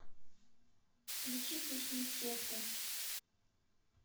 включи песню секта